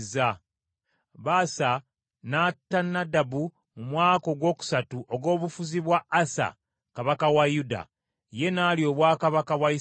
Baasa n’atta Nadabu mu mwaka ogwokusatu ogw’obufuzi bwa Asa kabaka wa Yuda, ye n’alya obwakabaka bwa Isirayiri.